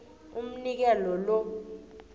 umnikelo lo